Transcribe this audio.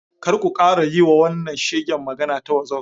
Kar ku kara yiwa wannan shegen magana ta wazof.